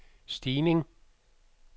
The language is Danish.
stigning